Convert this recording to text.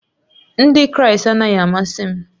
Ndị Kraịst anaghị amasị m